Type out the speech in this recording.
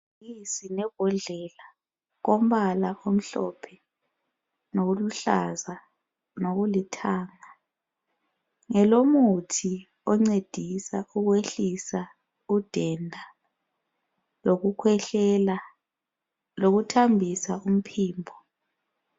Ngamabhodlela ompala omhlophe laluhlaza lokulithanga ngelemuthi oncedisa ukwehlisa udenda lokukhwehlela lokuthambisa umphimbo.